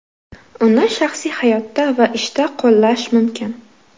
Uni shaxsiy hayotda va ishda qo‘llash mumkin.